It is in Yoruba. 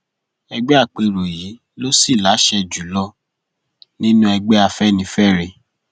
àpérò gbọgbẹkọọ ẹgbẹ ló fi í ṣe aṣáájú ẹgbẹ àpérò yìí ló sì láṣẹ jù lọ nínú ẹgbẹ afẹnifẹre